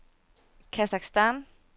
Kasakhstan